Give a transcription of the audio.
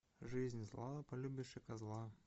жизнь зла полюбишь и козла